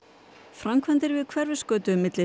framkvæmdir hófust við Hverfisgötu milli